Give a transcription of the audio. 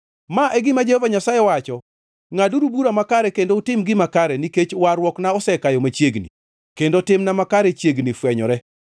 Ma e gima Jehova Nyasaye wacho: “Ngʼaduru bura makare kendo utim gima kare, nikech warruokna osekayo machiegni kendo timna makare chiegni fwenyore.